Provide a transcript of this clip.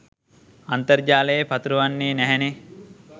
අන්තර්ජාලයේ පතුරවන්නේ නැහැනේ.